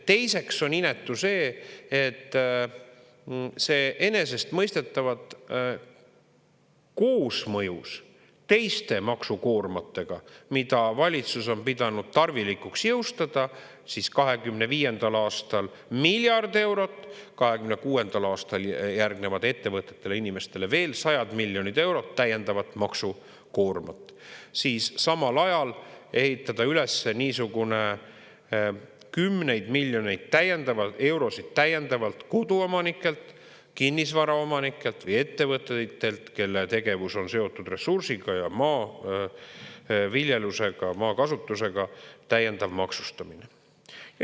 Teiseks on inetu see, et see enesestmõistetavalt koosmõjus teiste maksukoormatega, mida valitsus on pidanud tarvilikuks jõustada – 2025. aastal miljard eurot, 2026. aastal järgnevad ettevõtetele ja inimestele veel sajad miljonid eurod täiendavat maksukoormat –, samal ajal ehitada üles niisugune kümneid miljoneid eurosid täiendavalt koduomanike, kinnisvaraomanike või ettevõtete, kelle tegevus on seotud ressursiga ja maaviljelusega, maakasutusega, täiendav maksustamine.